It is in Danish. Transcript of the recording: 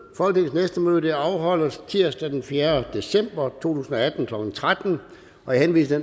næste møde afholdes tirsdag den fjerde december to tusind og atten klokken tretten jeg henviser